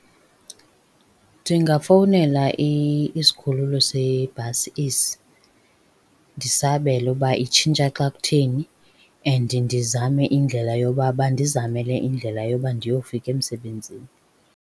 Ndingafowunela isikhululo sebhasi esi, ndisabele uba itshintsha xa kutheni, and ndizame indlela yoba bandizamele indlela yoba ndiyofika emsebenzini.